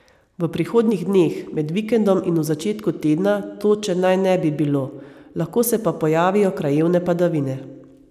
V prihodnjih dneh, med vikendom in v začetku tedna, toče naj ne bi bilo, lahko se pa pojavijo krajevne padavine.